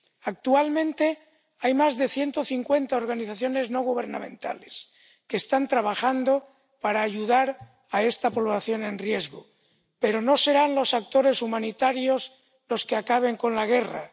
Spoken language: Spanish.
Actualmente hay más de ciento cincuenta organizaciones no gubernamentales que están trabajando para ayudar a esta población en riesgo, pero no serán los actores humanitarios los que acaben con la guerra.